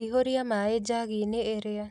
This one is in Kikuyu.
Ihũria maĩ njagi-inĩ ĩrĩa